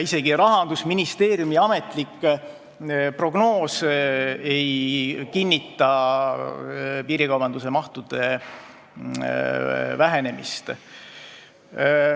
Isegi Rahandusministeeriumi ametlik prognoos ei kinnita piirikaubanduse vähenemist.